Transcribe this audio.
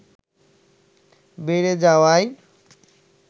বেড়ে যাওয়ায়